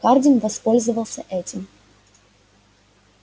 хардин воспользовался этим